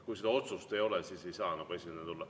Kui seda otsust ei ole, siis ei saa esindajana tulla.